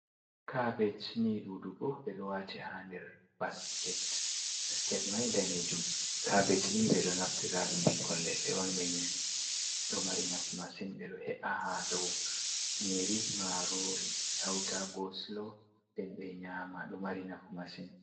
"Kabesh" ni ɗuɗugo ɓeɗo waati ha nder basket, basket mai danejum kabesh ni ɓeɗo naftira ɗum ɓikkon leɗɗe on ɗo mari nafu masin ɓeɗo he’a ha dou nyiri marori hauta kosilo nden ɓe nyama ɗo mari nafu masin.